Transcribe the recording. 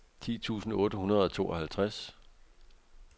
ti tusind otte hundrede og tooghalvtreds